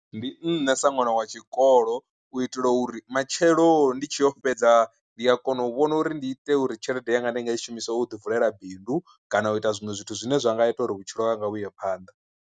Ndi nṋe sa ṅwana wa tshikolo u itela uri matshelo ndi tshi yo fhedza ndi a kona u vhona uri ndi ite uri tshelede yanga ndi nga i shumisa u ḓi vulela bindu kana u ita zwiṅwe zwithu zwine zwa nga ita uri vhutshilo hanga huye phanḓa.